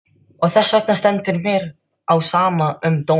Og þessvegna stendur mér á sama um dóminn.